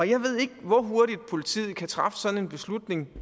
jeg ved ikke hvor hurtigt politiet kan træffe sådan en beslutning